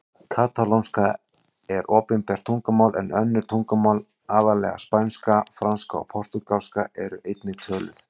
Katalónska er opinbert tungumál en önnur tungumál, aðallega spænska, franska og portúgalska, eru einnig töluð.